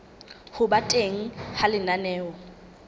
ho ba teng ha lenaneo